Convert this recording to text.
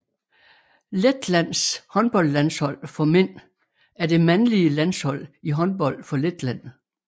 Letlands håndboldlandshold for mænd er det mandlige landshold i håndbold for Letland